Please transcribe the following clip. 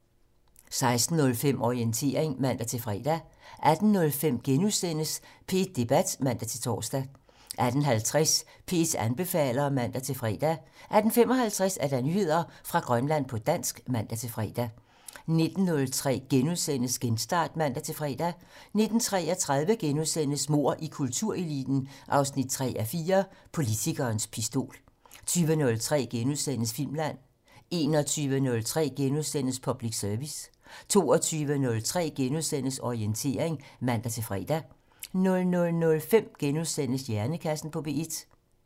16:05: Orientering (man-fre) 18:05: P1 Debat *(man-tor) 18:50: P1 anbefaler (man-fre) 18:55: Nyheder fra Grønland på dansk (man-fre) 19:03: Genstart *(man-fre) 19:33: Mord i kultureliten 3:4 - Politikerens pistol * 20:03: Filmland * 21:03: Public Service * 22:03: Orientering *(man-fre) 00:05: Hjernekassen på P1 *